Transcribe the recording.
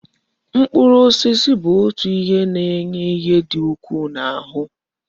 Mkpụrụ osisi bụ otu na ime nri na enye ihe di ukwu na aru